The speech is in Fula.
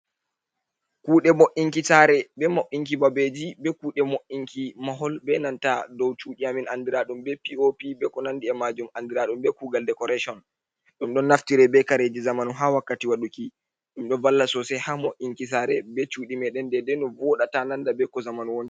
Kude bo’inkitare be mo’inki ɓabeji be kude mo’inki mahol be nanta dow sudi amin andiradum be pop be ko nandi majum andiradum be kugal dekoration dum don naftire be kareji zamanu ha wakkati waduki dum do valla sosai ha mo’inki sare be sudi me den deɗei no voda ta nanda be ko zamanu woni.